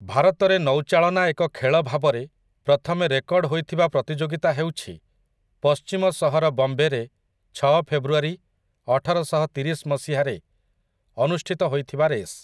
ଭାରତରେ ନୌଚାଳନା ଏକ ଖେଳ ଭାବରେ ପ୍ରଥମେ ରେକର୍ଡ ହୋଇଥିବା ପ୍ରତିଯୋଗିତା ହେଉଛି ପଶ୍ଚିମ ସହର ବମ୍ବେରେ ଛଅ ଫେବୃଆରୀ ଅଠରଶହତିରିଶ ମସିହାରେ ଅନୁଷ୍ଠିତ ହୋଇଥିବା ରେସ୍ ।